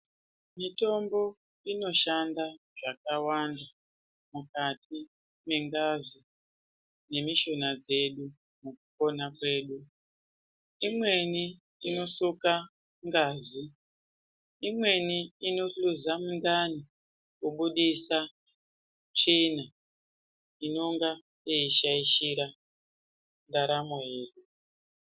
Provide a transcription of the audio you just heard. Mitombo inoshanda zvakawanda mukati mengazi nemishuna dzedu mukupona kwedu. Imweni inorape ngazi, imweni inohluze svina inonga yeishaishira ndaramo yedu.